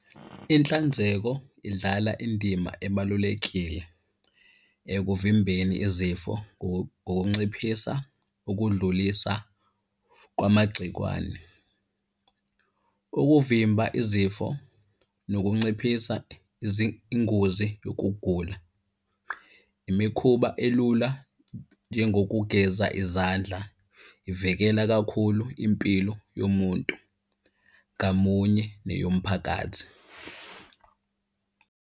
Inhlanzeko idlala indima ebalulekile ekuvimbeni izifo, ngokunciphisa ukudlulisa kwamagcekwane. Ukuvimba izifo, nokunciphisa izingozi yokugula. Imikhuba elula njengokugeza izandla, ivikela kakhulu impilo yomuntu ngamunye neyomphakathi.